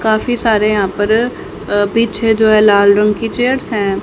काफी सारे यहां पर अ पीछे जो है लाल रंग की चेयर्स है।